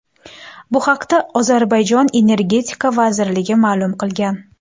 Bu haqda Ozarbayjon Energetika vazirligi ma’lum qilgan .